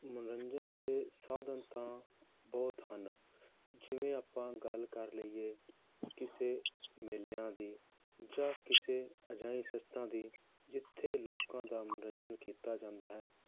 ਮਨੋਰੰਜਨ ਦੇ ਸਾਧਨ ਤਾਂ ਬਹੁਤ ਹਨ ਜਿਵੇਂ ਆਪਾਂ ਗੱਲ ਕਰ ਲਈਏ ਕਿਸੇ ਮੇਲਿਆਂ ਦੀ ਜਾਂ ਕਿਸੇ ਅਜਿਹੇ ਦੀ ਜਿੱਥੇ ਲੋਕਾਂ ਦਾ ਮਨੋਰੰਜਨ ਕੀਤਾ ਜਾਂਦਾ ਹੈ,